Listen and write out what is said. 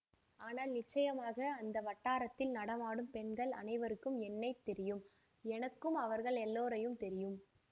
ஆனால் நிச்சயமாக அந்த வட்டாரத்தில் நடமாடும் பெண்கள் அனைவருக்கும் என்னை தெரியும் எனக்கும் அவர்கள் எல்லோரையும் தெரியும்